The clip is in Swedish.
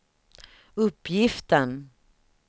uppgiften